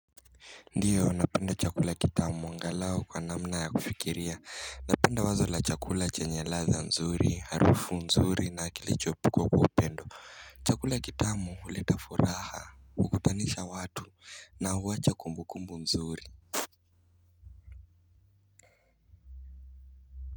Ndiyo napenda chakula kitamu angalau kwa namna ya kufikiria napenda wazo la chakula chenye ladha nzuri, harufu nzuri na kilichopikwa kwa upendo chakula kitamu huleta furaha, hukutanisha watu na huwacha kumbukumbu nzuri.